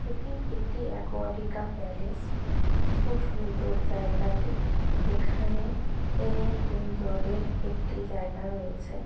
এটি একটি Aquatica palace ভীষণ সুন্দর জায়গাটি এখানে এএএএ উম জলের একটি জায়গা রয়েছে।